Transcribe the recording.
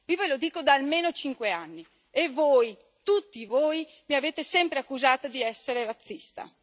Io ve lo dico da almeno cinque anni e voi, tutti voi, mi avete sempre accusata di essere razzista.